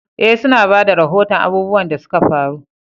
Eh, su na ba da rahoton abubuwan da suka faru.